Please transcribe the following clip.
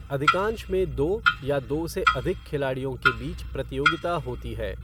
अधिकांश में दो या दो से अधिक खिलाड़ियों के बीच प्रतियोगिता होती है।